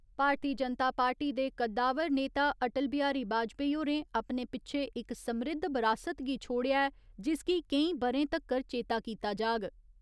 भारतीय जनता पार्टी दे कद्दावार नेता अटल बिहारी बाजपाई होरें अपने पिच्छे इक समृद्ध बरासत गी छोड़ेआ ऐ जिसगी केईं बरे तक्कर चेता कीता जाग